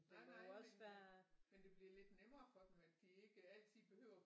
Nej nej men men det bliver lidt nemmere for dem at de ikke altid behøver at